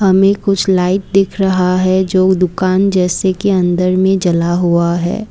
हमें कुछ लाइट दिख रहा हैजो दुकान जैसे के अंदर में जला हुआ है।